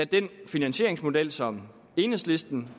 den finansieringsmodel som enhedslisten